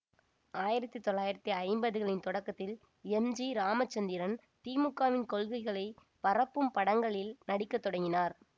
ஆயிரத்தி தொள்ளாயிரத்தி ஐம்பது களின் தொடக்கத்தில் எம் ஜி இராமச்சந்திரன் திமுகவின் கொள்கைகளை பரப்பும் படங்களில் நடிக்க தொடங்கினார்